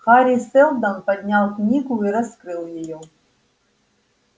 хари сэлдон поднял книгу и раскрыл её